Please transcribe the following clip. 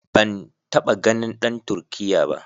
Ban taɓa ganin dan Turkiyya ba.